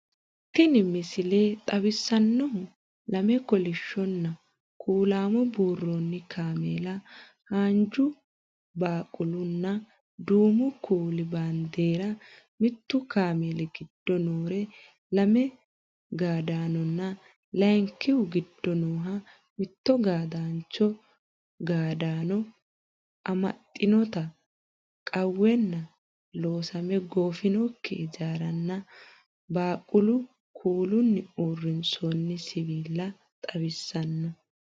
Tini misile xawissannohu lame kolishshonna kuulaamo buurroonni kaameela, haanju, baqqalunna duumu kuuli baandeera, mittu kaameeli giddo noore lame gaadaanonna layiinkihu giddo nooha mitto gaadaancho, gaadaano amaxxitinota qawwenna loosame goofinokki ijaaranna baqqalu kuulinni uurrinsooni siwiila xawissanno.